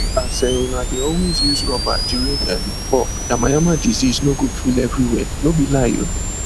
as um una de always use rubber during um fuck yamayama disease no go full everywhere no be lie oo